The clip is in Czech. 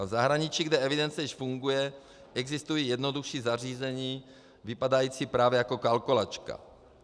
A v zahraničí, kde evidence již funguje, existují jednodušší zařízení, vypadající právě jako kalkulačka.